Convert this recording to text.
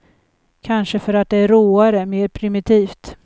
Kanske för att det är råare, mer primitivt.